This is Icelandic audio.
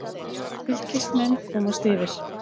Fylkismenn komast yfir.